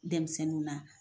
Denmisɛnnin na